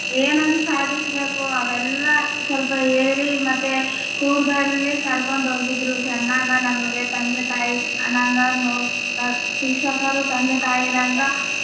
ಏನೇನ ಸಾದಿಸಬೇಕು ಅವೆಲ್ಲ ಸ್ವಲ್ಪ ಹೇಳಿ ಮತ್ತೆ ಕರಕೊಂಡು ಹೋಗಿದ್ರೂ ಚೆನ್ನಾಗ ನಮ್ಗೆ ತಂದೆ ತಾಯಿ ಶಿಕ್ಷಕರು ತಂದೆ ತಾಯಿರಾಂಗ.